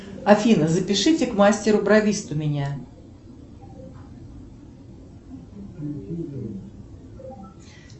афина запишите к мастеру бровисту меня